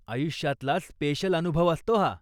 आयुष्यातला स्पेशल अनुभव असतो हा.